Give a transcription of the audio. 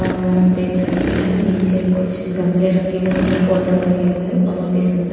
और आप देख सकते हैं नीचे कुछ गमले रखे हैं उनमें पौधा लगे हुए हैं बहुत ही सुंदर--